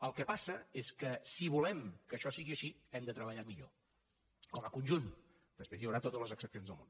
el que passa és que si volem que això sigui així hem de treballar millor com a conjunt després hi haurà totes les excepcions del món